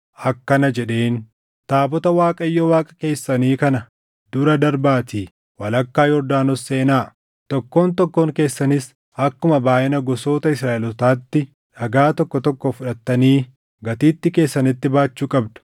akkana jedheen; “Taabota Waaqayyo Waaqa keessanii kana dura darbaatii walakkaa Yordaanos seenaa. Tokkoon tokkoon keessanis akkuma baayʼina gosoota Israaʼelootaatti dhagaa tokko tokko fudhattanii gatiittii keessanitti baachuu qabdu.